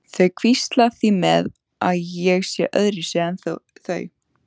Þau hvísla því með að ég sé öðruvísi en þau.